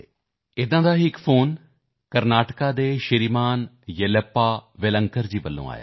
ਉਸ ਤਰ੍ਹਾਂ ਹੀ ਮੈਨੂੰ ਇੱਕ ਫੋਨ ਕਰਨਾਟਕ ਦੇ ਸ਼੍ਰੀਮਾਨ ਯੇਲੱਪਾ ਵੇਲਾਂਕਰ ਜੀ ਦੀ ਤਰਫ਼ ਤੋਂ ਆਇਆ ਹੈ